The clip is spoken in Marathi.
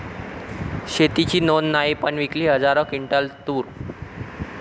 शेतीची नोंद नाही, पण विकली हजारो क्विंटल तूर